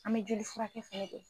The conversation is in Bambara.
An mɛ joli furakɛ fɛnɛ kɛ